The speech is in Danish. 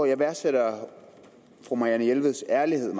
jeg værdsætter meget fru marianne jelveds ærlighed